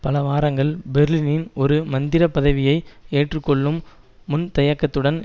பல வாரங்கள் பெர்லினின் ஒரு மந்திரி பதவியை ஏற்றுக்கொள்ளும் முன்தயக்கத்துடன்